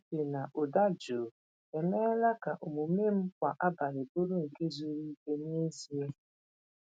Ịtụ uche na ụda jụụ emeela ka omume m kwa abalị bụrụ nke zuru ike n’ezie.